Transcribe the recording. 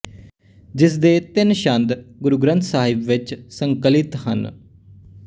ਜਿਸ ਦੇ ਤਿੰਨ ਛੰਦ ਗੁਰੂ ਗ੍ੰਥ ਸਾਹਿਬ ਵਿੱਚ ਸੰਕਲਿਤ ਹਨ